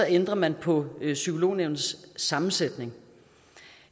ændrer man på psykolognævnets sammensætning